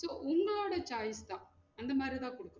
so உங்களோட choice தான் அந்த மாதிரி தான் குடுக்குறோம்